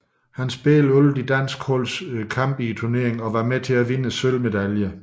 Han spillede alle det danske holds kampe i turneringen og var med til at vinde sølvmedaljer